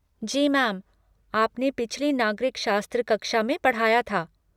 जी ma'am, आपने पिछली नागरिक शास्त्र कक्षा में पढ़ाया था।